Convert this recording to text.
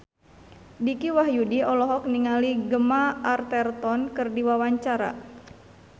Dicky Wahyudi olohok ningali Gemma Arterton keur diwawancara